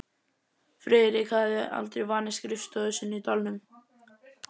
Friðrik hafði aldrei vanist skrifstofu sinni í dalnum.